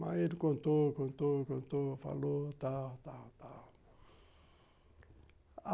Mas ele contou, contou, contou, falou, tal, tal, tal.